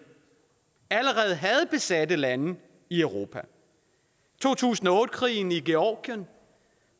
allerede havde besatte lande i europa to tusind og otte krigen i georgien